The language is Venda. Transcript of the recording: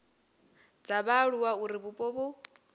dza vhaaluwa uri vhupo vhu